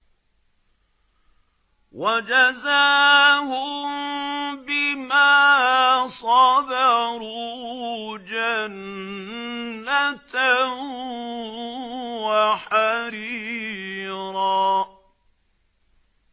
وَجَزَاهُم بِمَا صَبَرُوا جَنَّةً وَحَرِيرًا